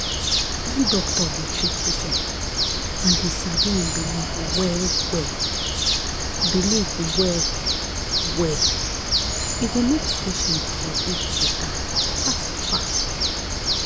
when doctor dey treat patient and e sabi en belief well-well belief well-well e go make patient body better fast-fast.